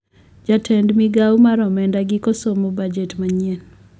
Jatend migao mar omenda giko somo bujet manyien